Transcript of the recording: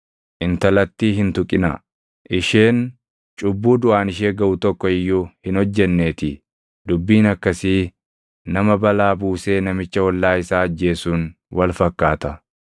Intalattii hin tuqinaa; isheen cubbuu duʼaan ishee gaʼu tokko iyyuu hin hojjenneetii. Dubbiin akkasii nama balaa buusee namicha ollaa isaa ajjeesuun wal fakkaata;